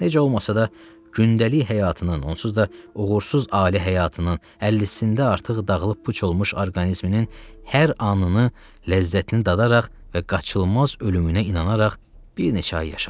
Necə olmasa da gündəlik həyatının, onsuz da uğursuz ali həyatının əllicisində artıq dağılıb puç olmuş orqanizminin hər anını ləzzətini dadaraq və qaçılmaz ölümünə inanaraq bir neçə ay yaşadı.